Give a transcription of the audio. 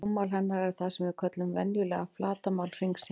Rúmmál hennar er það sem við köllum venjulega flatarmál hringsins.